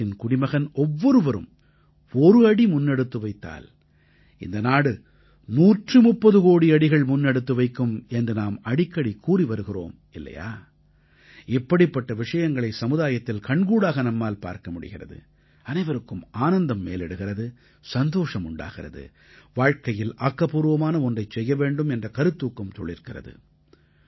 நாட்டின் குடிமகன் ஒவ்வொருவரும் ஒரு அடி முன்னெடுத்து வைத்தால் இந்த நாடு 130 கோடி அடிகள் முன்னெடுத்து வைக்கும் என்று நாம் அடிக்கடி கூறி வருகிறோம் இல்லையா இப்படிப்பட்ட விஷயங்களை சமுதாயத்தில் கண்கூடாக நம்மால் பார்க்க முடிகிறது அனைவருக்கும் ஆனந்தம் மேலிடுகிறது சந்தோஷம் உண்டாகிறது வாழ்க்கையில் ஆக்கப்பூர்வமான ஒன்றைச் செய்ய வேண்டும் என்ற கருத்தூக்கம் துளிர்க்கிறது